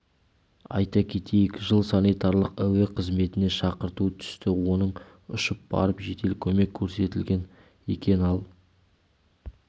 айта кетейік жылы санитарлық әуе қызметіне шақырту түсті оның ұшып барып жедел көмек көрсетілген екен ал